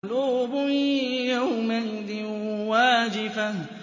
قُلُوبٌ يَوْمَئِذٍ وَاجِفَةٌ